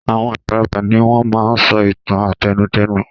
Àwọn àgbàlagbà ni wọ́n máa ń sọ ìtàn àtẹnudẹ́nu.